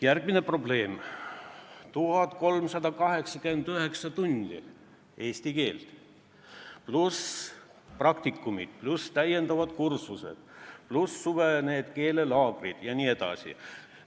Järgmine probleem: 1389 tundi eesti keelt, praktikumid, täienduskursused pluss suvised keelelaagrid jne.